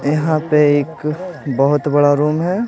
यहाँ पे एक बहुत बड़ा रूम है।